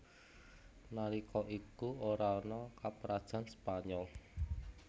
Nalika iku ora ana Kaprajan Spanyol